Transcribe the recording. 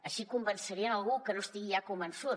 així convencerien algú que no estigui ja convençut